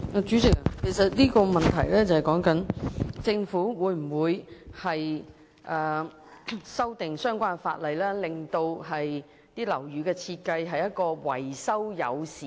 主席，這項主體質詢是問，政府會否修訂相關法例，令樓宇設計變得更維修友善。